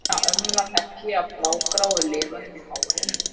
Hina ömmuna þekkti ég á blágráu liðunum í hárinu.